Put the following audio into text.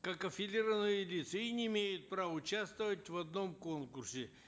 как аффилированные лица и не имеют права участвовать в одном конкурсе